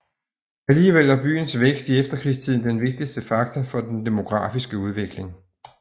Alligevel var byens vækst i efterkrigstiden den vigtigste faktor for den demografiske udvikling